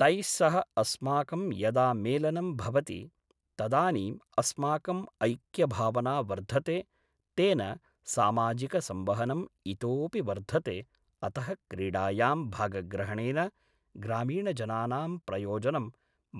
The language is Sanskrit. तैस्सह अस्माकं यदा मेलनं भवति तदानीम् अस्माकम् ऐक्यभावना वर्धते तेन सामाजिकसंवहनम् इतोपि वर्धते अतः क्रीडायां भागग्रहणेन ग्रामीणजनानां प्रयोजनं